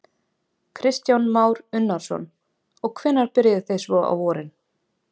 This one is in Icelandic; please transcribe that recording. Kristján Már Unnarsson: Og hvenær byrjið þið svo á vorin?